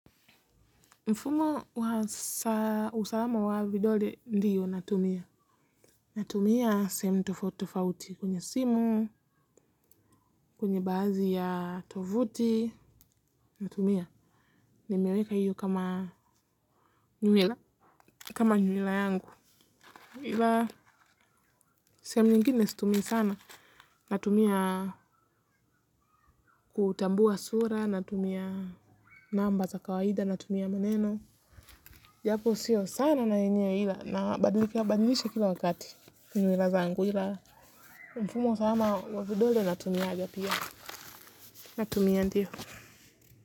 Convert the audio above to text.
Mfumo wa usalama wa vidole ndiyo natumia. Natumia sehemu tofauti tofauti kwenye simu kwenye baadhi ya tovuti natumia. Nimeweka hiyo kama nywila. Kama nyumila yangu. Ila sehemu nyingine situmii sana. Natumia kutambua sura natumia namba za kawaida natumia maneno. Japo siyo sana na enyewe ila nabadilika badilishe kila wakati nywila zangu. Mfumo salama wa vidole natumianga pia natumia ndiyo.